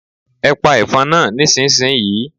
Ẹ pa ẹ̀fọn náà nísinsìnyí!